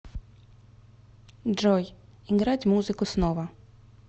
джой играть музыку снова